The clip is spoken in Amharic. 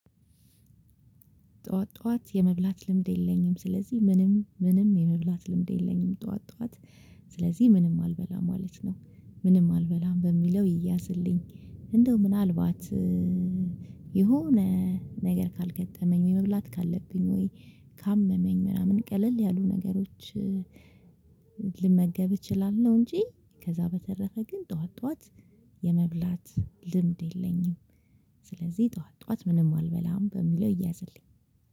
ጠዋት ጠዋት የመብላት ልምድ የለኝም ስለዚህ ምንም ምንም የመብላት ልምድ የለኝም ጠዋት ጠዋት። ስለዚህ ምንም አልበላም ማለት ነው። ምንም አልበላም በሚለው ይያዝልኝ እንደው ምናልባት የሆነ ነገር ካልገጠመኝ ወይ መብላት ካለብኝ ወይ ካመመኝ ምናምን ቀለል ያሉ ነገሮች። ልመገብ እችላለሁ። እንጂ ከዛ በተረፈ ግን ጠዋት ጠዋት የመብላት ልምድ የለኝም። ስለዚህ ጠዋት ጠዋት ምንም አልበላም በሚለው እያዘልኝ።